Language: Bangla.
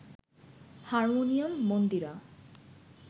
হারমোনিয়াম, মন্দিরা